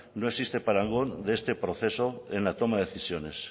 no existe parangón de este proceso en la toma de decisiones